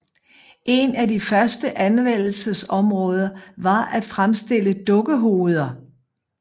En af de første anvendelses områder var at fremstille dukkehoveder